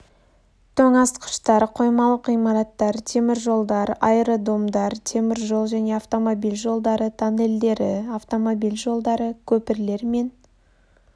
тоңазытқыштар қоймалық ғимараттар темір жолдар аэродромдар темір жол және автомобиль жолдары тоннельдері автомобиль жолдары көпірлер мен